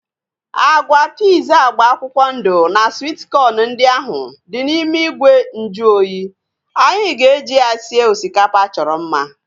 Agwa piiz agba akwụkwọ ndụ na swit kọn ndị ahu dị n'ime ìgwè nju oyi, anyị ga-eji ya sie osikapa achọrọ mma